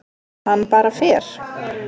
Hann bara fer.